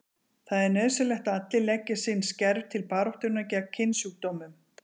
Það er nauðsynlegt að allir leggi sinn skerf til baráttunnar gegn kynsjúkdómum.